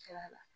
Kɛra a la